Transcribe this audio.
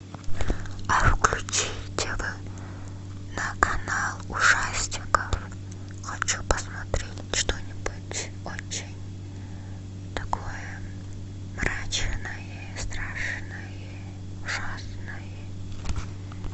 а включи тв на канал ужастиков хочу посмотреть что нибудь очень такое мрачное страшное ужасное